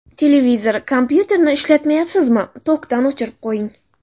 Televizor, kompyuterni ishlatmayapsizmi, tokdan o‘chirib qo‘ying.